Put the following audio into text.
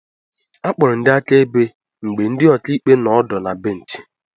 Akpọrọ ndị akaebe mgbe ndị ọkàikpe nọ ọdụ na bènchị